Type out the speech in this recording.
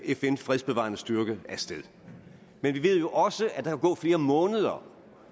fn fredsbevarende styrke af sted men vi ved jo også at der kan gå flere måneder